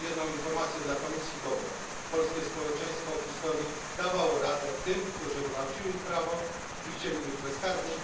Mam jednak jedną dobrą informację dla Komisji polskie społeczeństwo w historii dawało radę tym, którzy gwałcili prawo i chcieli być bezkarni.